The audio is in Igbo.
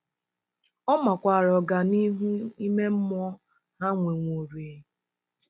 Ọ makwaara ọganihu ime mmụọ ha nwewororịị..